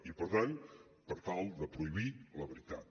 i per tant per tal de prohibir la veritat